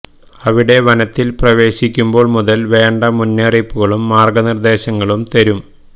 അവിടെ വനത്തിൽ പ്രവേശിക്കുമ്പോൾ മുതൽ വേണ്ട മുന്നറിയിപ്പുകളും മാർഗ നിർദേശങ്ങളും തരും